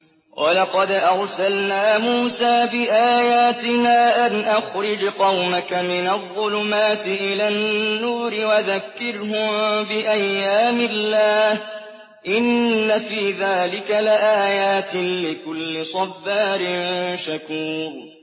وَلَقَدْ أَرْسَلْنَا مُوسَىٰ بِآيَاتِنَا أَنْ أَخْرِجْ قَوْمَكَ مِنَ الظُّلُمَاتِ إِلَى النُّورِ وَذَكِّرْهُم بِأَيَّامِ اللَّهِ ۚ إِنَّ فِي ذَٰلِكَ لَآيَاتٍ لِّكُلِّ صَبَّارٍ شَكُورٍ